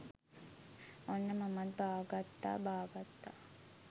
ඔන්න මමත් බාගත්තා බාගත්තා